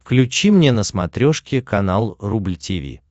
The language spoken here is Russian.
включи мне на смотрешке канал рубль ти ви